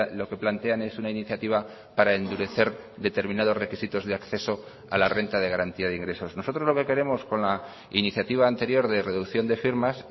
lo que plantean es una iniciativa para endurecer determinados requisitos de acceso a la renta de garantía de ingresos nosotros lo que queremos con la iniciativa anterior de reducción de firmas